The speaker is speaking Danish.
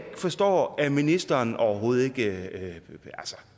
forstår at ministeren overhovedet ikke